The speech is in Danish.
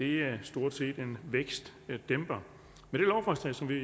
er stort set en vækstdæmper med det lovforslag som vi